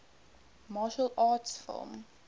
martial arts film